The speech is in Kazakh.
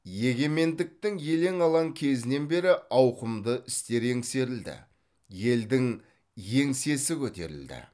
егемендіктің елең алаң кезінен бері ауқымды істер еңсерілді елдің еңсесі көтерілді